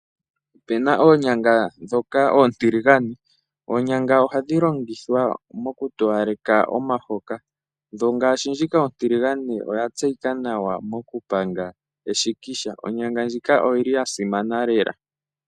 Opuna oonyanga oontiligane. Oonyanga ohadhi longithwa okutowaleka momahoka . Ngaashi ndjika ontiligane oya tseyika nawa mokupanga eshikisha. Onyanga ndjika oyili yasimana lela .